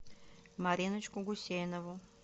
мариночку гусейнову